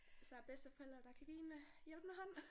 Især bedsteforældre der kan give en øh hjælpende hånd!